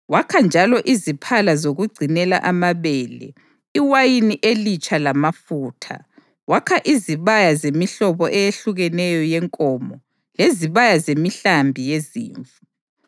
Wakha njalo iziphala zokugcinela amabele, iwayini elitsha lamafutha, wakha izibaya zemihlobo eyehlukeneyo yenkomo, lezibaya zemihlambi yezimvu.